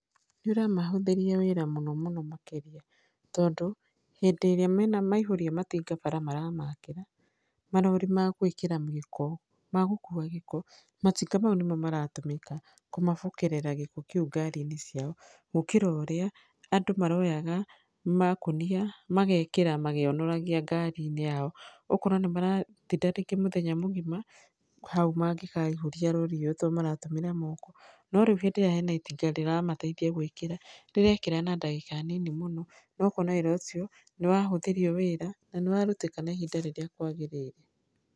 Nĩ ũramahũthĩria wĩra mũno mũno makĩria, tondũ hĩndĩ ĩrĩa mena maihũria matinga bara maramakĩra, marori ma gwĩkĩra gĩko magũkua gĩko, matinga mau nĩmo maratũmĩka kũmabokerera gĩko kĩu ngari-inĩ ciao, gũkĩra ũrĩa andũ maroyaga makũnia magekĩra magĩonoragia ngari-inĩ yao, ũkona nĩ maratinda rĩngĩ mũthenya mũgima hau mangĩkaihũria rori iyo tondũ maratũmĩra moko. No rĩu hĩndĩ ĩrĩa hena itinga rĩramateithia gwĩkĩra rĩrekĩra na ndagĩka nini mũno, na ũkona wĩra ucio nĩ wahũthĩrio wĩra na nĩ warutĩka na ihinda rĩrĩa kwagĩrĩire.